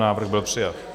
Návrh byl přijat.